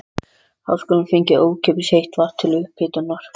Háskólinn fengi ókeypis heitt vatn til upphitunar.